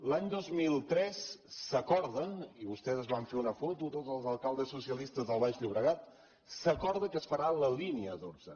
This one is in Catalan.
l’any dos mil tres s’acorda i vostès es van fer una foto tots els alcaldes socialistes del baix llobregat que es farà la línia dotze